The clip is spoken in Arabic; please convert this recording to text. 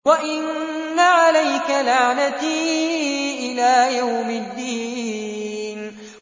وَإِنَّ عَلَيْكَ لَعْنَتِي إِلَىٰ يَوْمِ الدِّينِ